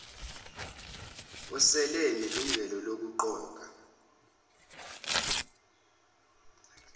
osele enelungelo lokuqoka